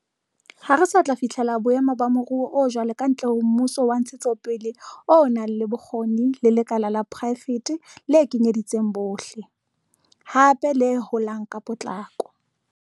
Ha re sa tla fihlela boemo ba moruo o jwalo kantle ho mmuso wa ntshetsopele o nang le bokgoni le lekala la poraefete le kenyeletsang bohle, hape le holang ka potlako.